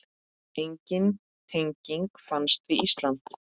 Engin tenging fannst við Ísland.